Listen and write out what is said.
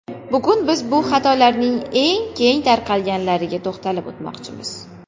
Bugun biz bu xatolarning eng keng tarqalganlariga to‘xtalib o‘tmoqchimiz.